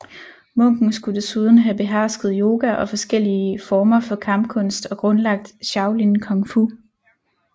Munken skulle desuden have behersket yoga og forskellige former for kampkunst og grundlagt shaolin kung fu